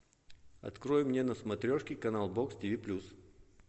открой мне на смотрешке канал бокс тв плюс